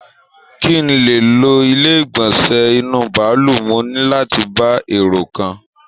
Kí n lè lò ilé igbọnsẹ inú bàálù, mo ní láti bá èrò kàn